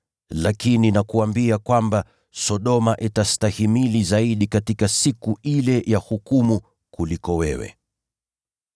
Lakini nakuambia kwamba, itakuwa rahisi zaidi kwa Sodoma kustahimili katika siku ya hukumu kuliko wewe.”